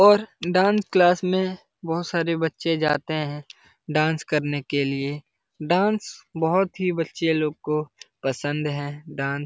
और dance class में बहुत सारे बच्चे जाते हैं डांस करने के लिए डांस बहुत ही बच्चे लोग को पसंद है डांस --